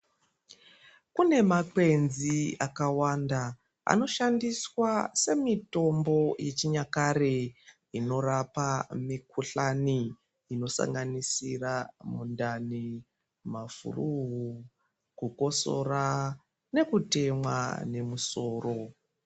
Pane makwenzi aka wanda ano shandiswa se mitombo yechi nyakare ino rapa mikuhlani ino sanganisira mundani ma furu ku kosora neku temwa ne musoro.